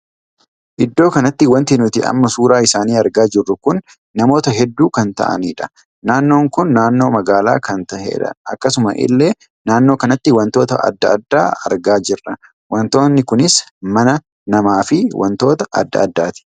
Iddoo kanatti wanti nuti amma suuraa isaanii argaa jirru kun namoota hedduu kan taa'aniidha. naannoon kun naannoo magaalaa kan tahedha. akkasuma illee naannoo kanatti wantoota addaa addaa argaa jirra. wantoonni kunis mana, nama fi wantoota addaa addaati.